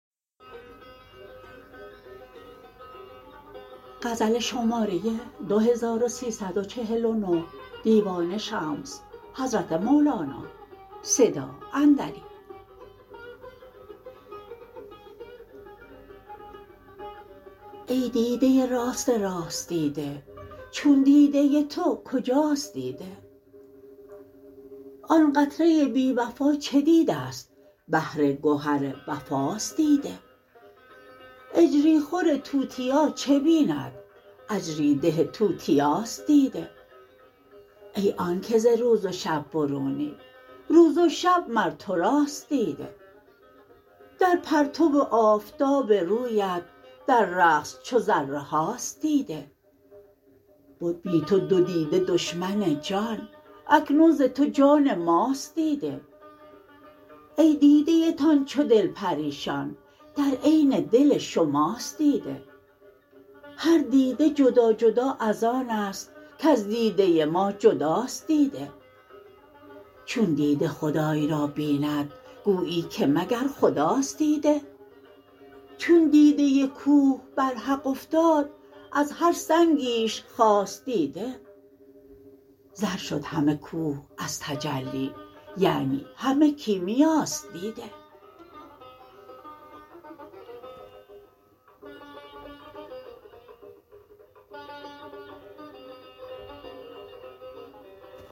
ای دیده راست راست دیده چون دیده تو کجاست دیده آن قطره بی وفا چه دیده ست بحر گهر وفاست دیده اجری خور توتیا چه بیند اجری ده توتیاست دیده ای آنک ز روز و شب برونی روز و شب مر تو راست دیده در پرتو آفتاب رویت در رقص چو ذره هاست دیده بد بی تو دو دیده دشمن جان اکنون ز تو جان ماست دیده ای دیده تان چو دل پریشان در عین دل شماست دیده هر دیده جدا جدا از آن است کز دیده ما جداست دیده چون دیده خدای را ببیند گویی که مگر خداست دیده چون دیده کوه بر حق افتاد از هر سنگیش خاست دیده زر شد همه کوه از تجلی یعنی همه کیمیاست دیده